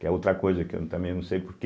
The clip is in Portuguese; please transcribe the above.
Que é outra coisa que eu também não sei por quê.